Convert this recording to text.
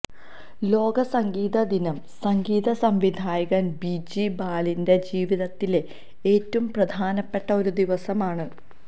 ലോക സംഗീത ദിനം സംഗീത സംവിധായകന് ബിജി ബാലിന്റെ ജീവിതത്തിലെ ഏറ്റവും പ്രധാനപ്പെട്ട ഒരു ദിവസമാണ്